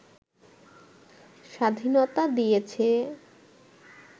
স্বাধীনতা দিয়েছে